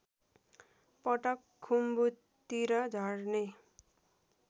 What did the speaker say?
पटक खुम्बुतिर झर्ने